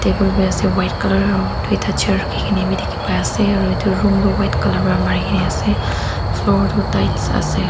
table bi asae white colour aro doita chair rakikina diki pai asae aro etu room doe white colour para marikina asae floor toh tiles asae.